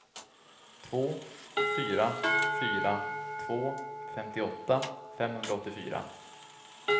två fyra fyra två femtioåtta femhundraåttiofyra